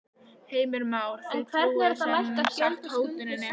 Heimir Már: Þið trúið sem sagt hótuninni?